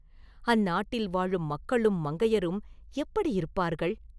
அந்நாட்டில் வாழும் மக்களும் மங்கையரும் எப்படியிருப்பார்கள்?